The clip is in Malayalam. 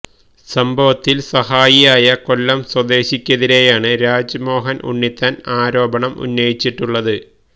സംഭവത്തിൽ സാഹായിയായ കൊല്ലം സ്വദേശിക്കെതിരെയാണ് രാജ്മോഹൻ ഉണ്ണിത്താൻ ആരോപണം ഉന്നയിച്ചിട്ടുള്ളത്